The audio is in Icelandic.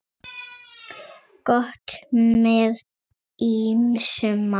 Gott með ýmsum mat.